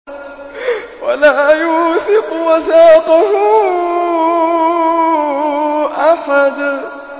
وَلَا يُوثِقُ وَثَاقَهُ أَحَدٌ